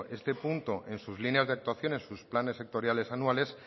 este punto en sus líneas de actuaciones en sus planes sectoriales anuales